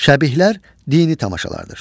Şəbihlər dini tamaşalardır.